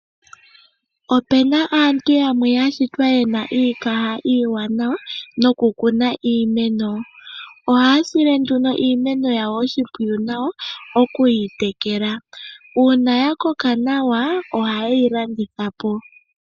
Opena aantu ya shitwa yena iikaha iiwanawa nokukuna iimeno. Oha ya sile nduno iimeno yawo oshimpwiyu nawa nokuyi tekela. Uuna ya koka nawa oha ye yi landitha po.